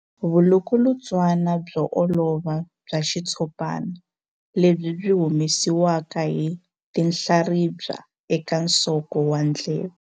Vulukulutswana byo olova bya xitshopana lebyi byi humesiwaka hi tinhlaribya eka nsoko wa ndleve.